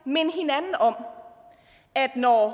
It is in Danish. minde hinanden om at når